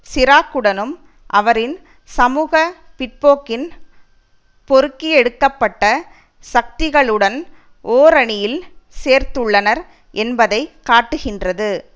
சிராக்குடனும் அவரின் சமூக பிற்போக்கின் பொறுக்கியெடுக்கப்ட்ட சக்திகளுடன் ஓரணியில் சேர்ந்துள்ளனர் என்பதை காட்டுகின்றது